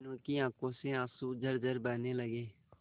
मीनू की आंखों से आंसू झरझर बहने लगे